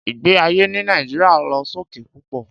Ìgbé ayé ní Nàìjíríà lọ sókè púpọ̀